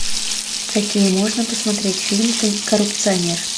какие можно посмотреть фильм коррупционер